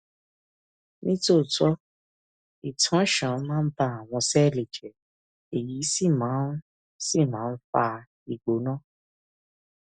ní tòótọ ìtànṣán máa ń ba àwọn sẹẹlì jẹ èyí sì máa ń sì máa ń fa ìgbóná